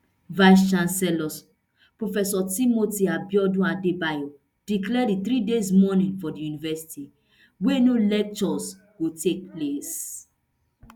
vice chancellor prof timothy abiodun adebayo declare di three days mourning for di university wia no lectures go take place